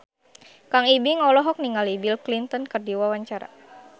Kang Ibing olohok ningali Bill Clinton keur diwawancara